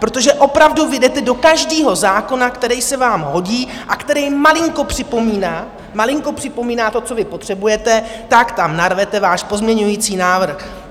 Protože opravdu vy jdete do každého zákona, který se vám hodí a který malinko připomíná, malinko připomíná to, co vy potřebujete, tak tam narvete váš pozměňující návrh!